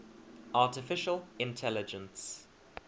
artificial intelligence